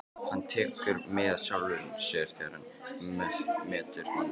Hann tekur mið af sjálfum sér þegar hann metur mannfólkið.